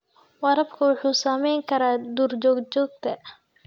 Waraabku wuxuu saamayn karaa duurjoogta.